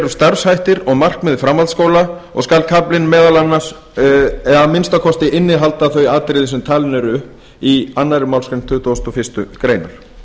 starfshættir og og markmið framhaldsskóla og skal kaflinn að minnsta kosti innihalda þau atriði sem talin eru upp í annarri málsgrein tuttugustu og fyrstu grein